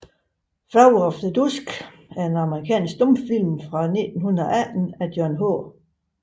Flower of the Dusk er en amerikansk stumfilm fra 1918 af John H